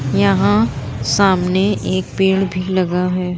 यहाँ सामने एक पेड़ भी लगा है।